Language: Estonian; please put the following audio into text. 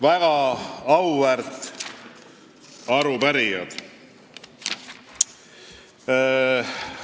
Väga auväärt arupärijad!